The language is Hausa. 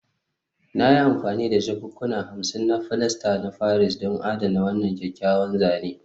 Na yi amfani da jakunkuna hamsin na filasta na Paris don adana wannan kyakkyawan zane